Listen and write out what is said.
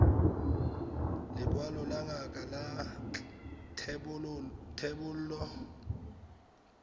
lekwalo la ngaka la thebolo